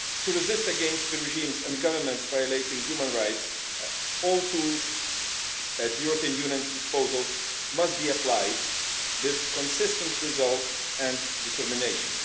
To resist the regimes and governments violating human rights, all tools at the European Union's disposal must be applied with consistent resolve and determination.